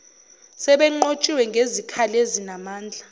sebenqotshiwe ngezikhali ezinamandla